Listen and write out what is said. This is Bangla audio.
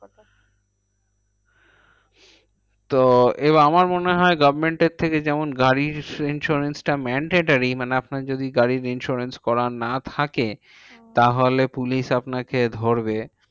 তো এবার আমার মনে হয় government এর থেকে যেমন গাড়ির insurance টা mandatory. মানে আপনার যদি গাড়ির insurance করা না থাকে, হম তাহলে পুলিশ আপনাকে ধরবে।